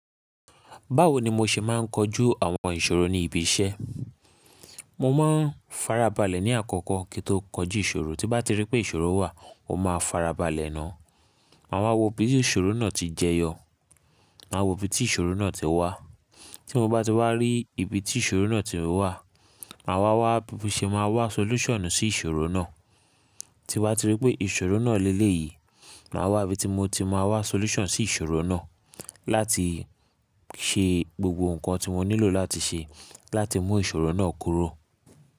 Báwo ni mo ṣe máa ń kojú àwọn ìṣòro ní ibi iṣẹ́? Mo máa ń farabalẹ̀ ní àkọ́kọ́ kí n tó kọjú ìṣòro. Tí bá ti rí pé ìṣòro wà, mo máa farabalẹ̀ náà. Máa wá wo bí ìṣòro náà ti jẹyọ. Máa wo ibi tí ìṣòro náà ti wá. Tí mo bá ti wá rí ibi tí ìṣòro náà ti wá, màá wá wá bí mo ṣe máa wá solution sí ìṣòro náà. Tí wá ti rí pé ìṣòro náà lé lé yìí, màá wá bí mo ti máa wá solution sí ìṣòro náà láti ṣe gbogbo nǹkan tí mo nílò láti ṣe láti mú ìṣòro náà kúrò.